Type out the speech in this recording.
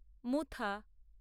মুথা